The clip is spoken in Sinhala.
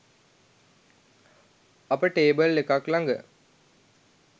අප ටේබල් එකක්‌ ළඟ